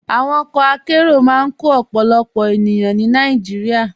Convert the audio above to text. Àwọn ọkọ àkéró máa n kọ ọ̀pọ̀lọpọ̀ ènìyàn ní Nàìjíríà.